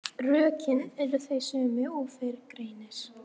Rökin eru þau sömu og fyrr greinir.